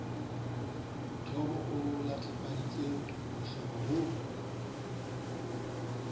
thomo e letlapahadi mohloka ho